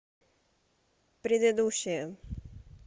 предыдущая